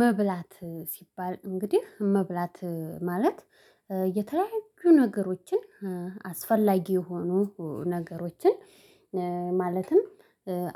መብላት ሲባል እንግዲህ መብላት ማለት የተለያዩ ነገሮችን አስፈላጊ የሆኑ ነገሮችን ማለትም